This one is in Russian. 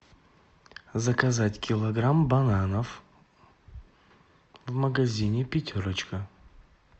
заказать килограмм бананов в магазине пятерочка